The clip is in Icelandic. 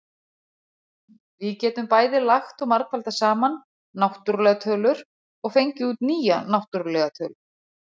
Við getum bæði lagt og margfaldað saman náttúrlegar tölur, og fengið út nýja náttúrlega tölu.